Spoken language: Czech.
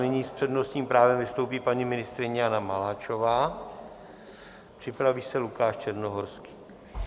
Nyní s přednostním právem vystoupí paní ministryně Jana Maláčová, připraví se Lukáš Černohorský.